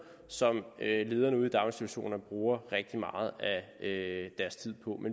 som lederne ude i daginstitutionerne bruger rigtig meget af deres tid på